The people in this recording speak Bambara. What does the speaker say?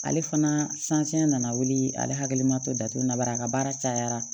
Ale fana saniya nana wuli ale hakili ma to datugula baara a ka baara cayara